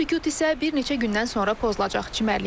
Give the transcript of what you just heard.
Bu sükut isə bir neçə gündən sonra pozulacaq.